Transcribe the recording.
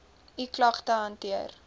u klagte hanteer